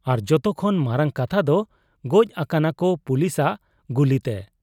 ᱟᱨ ᱡᱚᱛᱚ ᱠᱷᱚᱱ ᱢᱟᱨᱟᱝ ᱠᱟᱛᱷᱟᱫᱚ ᱜᱚᱡ ᱟᱠᱟᱱᱟᱠᱚ ᱯᱩᱞᱤᱥᱟᱜ ᱜᱩᱞᱤᱛᱮ ᱾